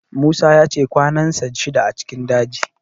Musa ya ce kwanansa shida a cikin daji